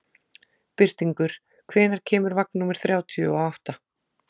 Birtingur, hvenær kemur vagn númer þrjátíu og átta?